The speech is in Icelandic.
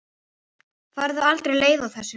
Færðu aldrei leið á þessu?